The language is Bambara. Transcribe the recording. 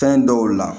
Fɛn dɔw la